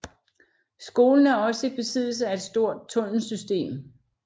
Skolen er også i besiddelse af et stort tunnelsystem